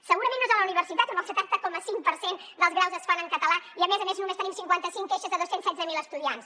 segurament no és a la universitat on el setanta coma cinc per cent dels graus es fan en català i a més a més només tenim cinquanta cinc queixes de dos cents i setze mil estudiants